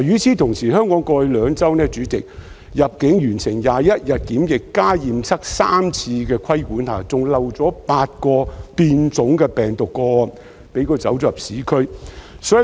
主席，香港過去兩周，在入境完成21日檢疫加上驗測3次的規管下，仍遺漏了8宗變種病毒個案，流入社區。